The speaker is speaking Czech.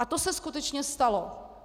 A to se skutečně stalo.